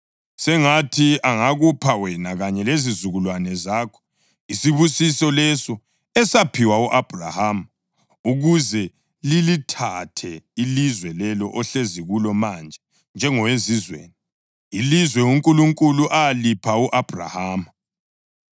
Sengathi angakupha wena kanye lezizukulwane zakho isibusiso leso esaphiwa u-Abhrahama, ukuze lilithathe ilizwe leli ohlezi kulo manje njengowezizweni, ilizwe uNkulunkulu alipha u-Abhrahama.”